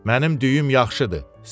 Mənim düyüm yaxşıdır,